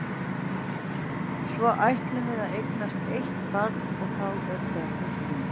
Svo ætlum við að eignast eitt barn og þá eru börnin þrjú.